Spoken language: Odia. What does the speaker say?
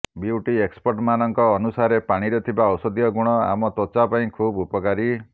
ବିଉଟି ଏକ୍ସପର୍ଟମାନଙ୍କ ଅନୁସାରେ ପାଣିରେ ଥିବା ଔଷଧୀୟ ଗୁଣ ଆମ ତ୍ୱଚା ପାଇଁ ଖୁବ୍ ଉପକାରୀ